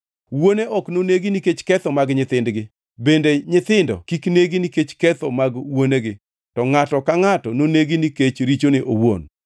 Wuone ok nonegi nikech ketho mag nyithindgi, bende nyithindo kik negi nikech ketho mag wuonegi, to ngʼato ka ngʼato nonegi nikech richone owuon.